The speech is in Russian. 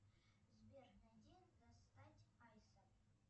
сбер найди достать айса